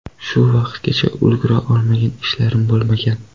Shu vaqtgacha ulgura olmagan ishlarim bo‘lmagan.